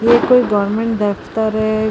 ਇਹ ਕੋਈ ਗੌਰਮੈਂਟ ਦਫਤਰ ਐ।